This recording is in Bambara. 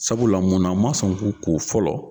Sabula muna n ma sɔn k'u ko fɔlɔ